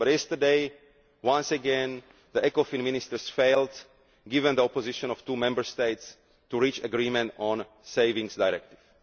But yesterday, once again, the Ecofin Ministers failed given the opposition of two Member States to reach agreement on the Savings Directive.